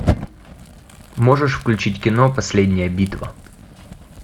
можешь включить кино последняя битва